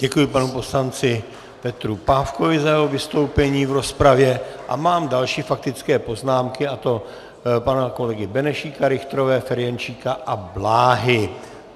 Děkuji panu poslanci Petru Pávkovi za jeho vystoupení v rozpravě a mám další faktické poznámky, a to pana kolegy Benešíka, Richterové, Ferjenčíka a Bláhy.